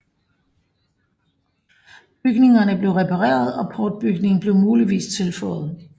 Bygningerne blev repareret og portbygningen blev muligvis tilføjet